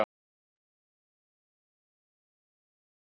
Hún var húseigandinn!